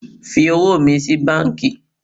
Fi owó mi sí banki